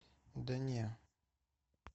да не